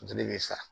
Funteni bɛ sa